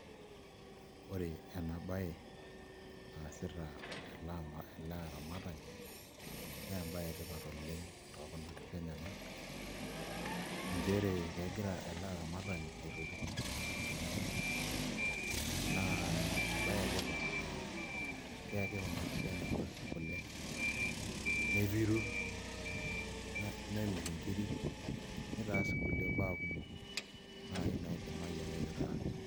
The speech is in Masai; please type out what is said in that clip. Ore ena baye naasita ele aramatani naa embaye etipat oleng' tookuna kishu enyenak nchere kegira ele aramatani aitoti kuna kishu enyenak naa embaye etipat naa keyaki kuna kishu enyenak kule nepiru, nemirr nkiri nitaas nkulie baa kumok naai naidimayu ake piitaas.